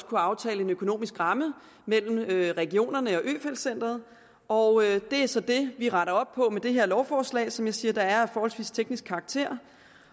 kunne aftale en økonomisk ramme mellem regionerne og øfeldt centret og det er så det vi retter op på med det her lovforslag som jeg siger er af forholdsvis teknisk karakter